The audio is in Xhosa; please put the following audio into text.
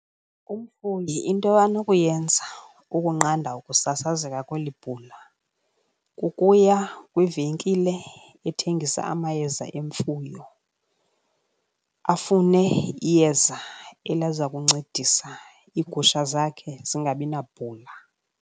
Umfuyi into anokuyenza ukunqanda ukusasazeka kweli bhula kukuya kwivenkile ethengisa amayeza emfuyo, afune iyeza eliza kuncedisa iigusha zakhe zingabinabhula.